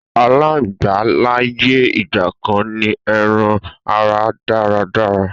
àláǹgbá láyé ìgbàkan ní eran ara dáradára